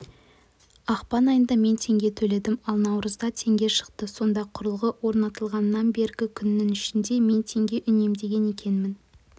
ақпан айында мен теңге төледім ал наурызда теңге шықты сонда құрылғы орнатылғаннан бергі күннің ішінде мен тенге үнемдеген екенмін